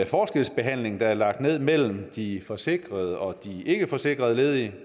forskelsbehandling der er lagt ned mellem de forsikrede og de ikkeforsikrede ledige